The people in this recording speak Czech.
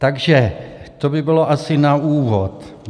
Takže to by bylo asi na úvod.